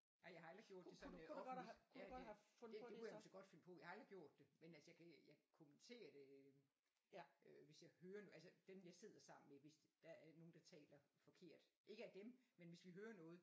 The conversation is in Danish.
Ej jeg har aldrig gjort det sådan offentligt ja det det kunne jeg så godt finde på jeg har aldrig gjort det men altså jeg jeg kommenterer det øh hvis jeg hører det altså dem jeg sidder sammen med hvis der er nogen der taler forkert ikke af dem men hvis vi hører noget